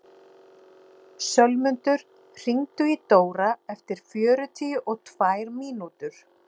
Einfalt svar við þessari spurningu er að það var aldrei til neinn fyrsti maður!